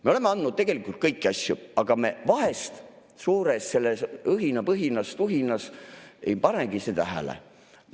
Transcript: Me oleme andnud tegelikult kõiki asju, aga me vahest suures õhinapõhises tuhinas ei panegi seda tähele.